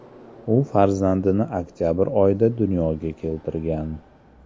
U farzandini oktabr oyida dunyoga keltirgan.